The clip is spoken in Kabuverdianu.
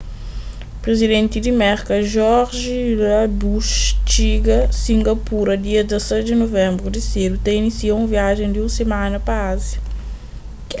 prizidenti di merka george w bush txiga singapura dia 16 di nuvenbru di sedu ta inísia un viajen di un simana pa ázia